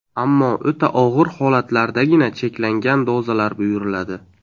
Ammo o‘ta og‘ir holatlardagina cheklangan dozalar buyuriladi.